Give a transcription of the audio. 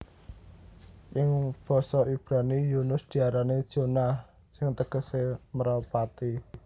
Ing basa Ibrani Yunus diarani Jonah sing tegesé mrepati